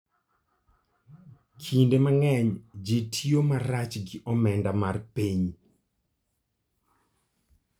Kinde mang'eny ji tiyo marach gi omenda mar piny.